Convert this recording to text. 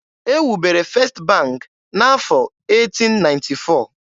E wubere First bank n'afọ 1894.